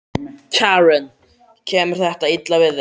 Karen: Kemur þetta illa við þig?